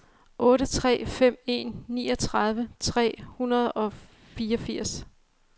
otte tre fem en niogtredive tre hundrede og fireogfirs